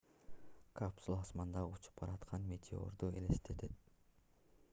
капсула асмандагы учуп бараткан метеорду элестетет